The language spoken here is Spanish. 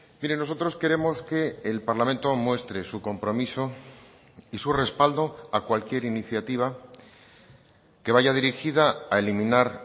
mire nosotros queremos que el parlamento muestre su compromiso y su respaldo a cualquier iniciativa que vaya dirigida a eliminar